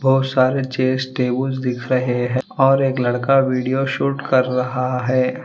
बहुत सारे chairs table दिख रहे हैं और एक लड़का वीडियो शूट कर रहा है।